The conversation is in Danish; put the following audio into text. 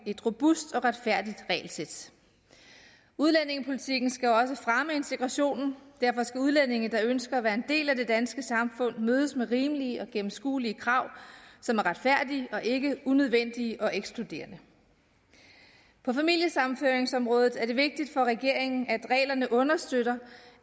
et robust og retfærdigt regelsæt udlændingepolitikken skal også fremme integrationen derfor skal udlændinge der ønsker at være en del af det danske samfund mødes med rimelige og gennemskuelige krav som er retfærdige og ikke unødvendige og ekskluderende på familiesammenføringsområdet er det vigtigt for regeringen at reglerne understøtter